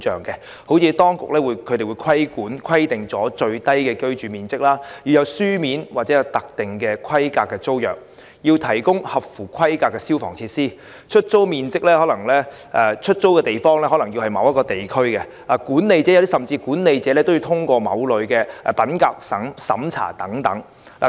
舉例而言，當局會規定最小的居住面積、有書面及特定規格的租約、提供合乎規格的消防設備、出租住所位於特定地區，甚至管理者也要通過某類品格審查。